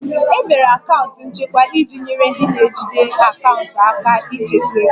E mere akaụntụ nchekwa iji nyere ndị na-ejide akaụntụ aka ịchekwa ego